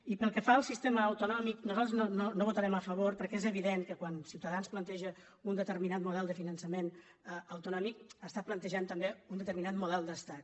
i pel que fa al sistema autonòmic nosaltres no hi vo·tarem a favor perquè és evident que quan ciutadans planteja un determinat model de finançament autonò·mic està plantejant també un determinat model d’es·tat